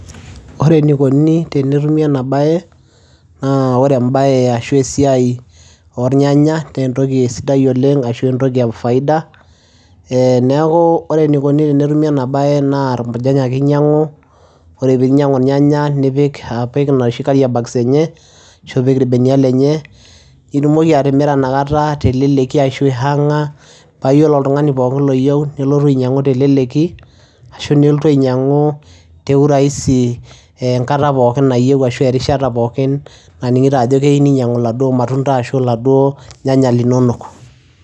Ore enikoni tenetumi ena baye naa ore embaye ashu esiai ornyanya nee entoki sidai oleng' ashu entoki e faida. Ee neeku ore enikoni tenetumi ena baye naa impurjany ake inyang'u, ore piinyangu irnyanya nipik apik inoshi carrier bags enye ashu ipik irbenia lenye, itumoki atimira inakata teleleki ashu aihaang'a paa iyiolo oltung'ani pookin loyeu nelotu ainyang'u teleleki ashu neeltu ainyang'u te urahisi eenkata pookin nayeu ashu erishata pookin naning'ito ajo keyeu ninyang'u iladuo matunda ashu iladuo nyanyak linonok.